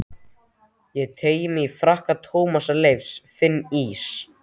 Ég teygi mig í frakka Tómasar Leifs, finn ís